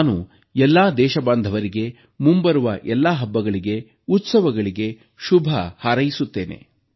ನಾನು ಎಲ್ಲ ದೇಶಬಾಂಧವರಿಗೆ ಮುಂಬರುವ ಎಲ್ಲ ಹಬ್ಬಗಳಿಗೆ ಉತ್ಸವಗಳಿಗೆ ಶುಭಹಾರೈಸುತ್ತೇನೆ